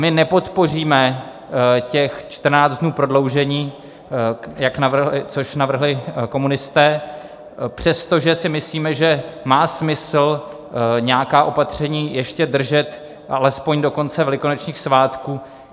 My nepodpoříme těch 14 dnů prodloužení, což navrhli komunisté, přestože si myslíme, že má smysl nějaká opatření ještě držet alespoň do konce velikonočních svátků.